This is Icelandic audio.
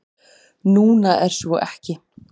Núna er svo ekki.